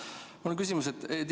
Mul on ka küsimus.